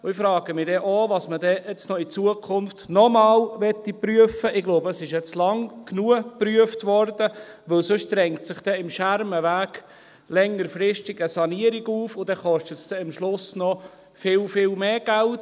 Ich frage mich auch, was man denn in Zukunft noch einmal prüfen möchte – ich glaube, es wurde jetzt lange genug geprüft –, denn sonst drängt sich dann am Schermenweg längerfristig eine Sanierung auf, und dann kostet es am Schluss noch viel, viel mehr Geld.